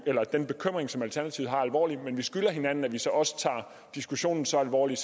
den bekymring som alternativet har alvorligt men vi skylder hinanden at vi så også tager diskussionen så alvorligt